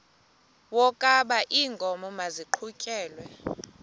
wokaba iinkomo maziqhutyelwe